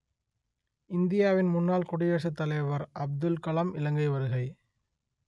இந்தியாவின் முன்னாள் குடியரசுத் தலைவர் அப்துல் கலாம் இலங்கை வருகை